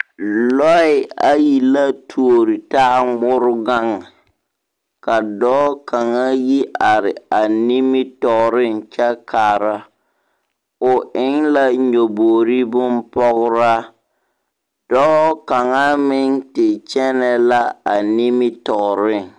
Lͻԑ ayi la tuori taa ŋmore gaŋe, ka dͻͻ kaŋa yi are a nimitͻͻreŋ kyԑ kaara. O eŋ la nyaboori bompͻgeraa. Dͻͻ kaŋa meŋ te kyԑnԑ la a nimitͻͻreŋ.